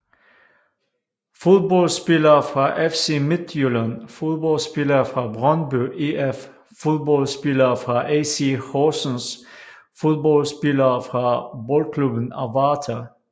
Fodboldspillere fra FC Midtjylland Fodboldspillere fra Brøndby IF Fodboldspillere fra AC Horsens Fodboldspillere fra Boldklubben Avarta